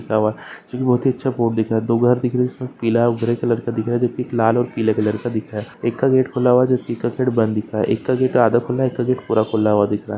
बहुत ही अच्छा बोर्ड दिख रहा है दो बोर्ड है पीला और ग्रे कलर का दिख रहा है एक का गेट खुला हुआ जो एक का गेट बंद दिख रहा एक का गेट आधा खुला है एक का गेट पूरा खुला हुआ दिख रहा है।